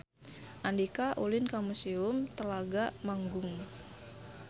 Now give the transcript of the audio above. Andika ulin ka Museum Telaga Manggung